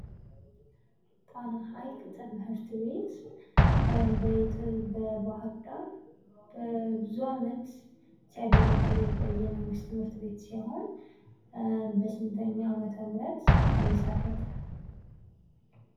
ጣና ሃይቅ ትምህርት ቤት በባህር ዳር ለብዙ አመት ሲያገለግል የቆየ የመንግስት ትምህርትቤት ሲሆን፤ በስንተኛ አመተ ምህረት ተመሰረተ?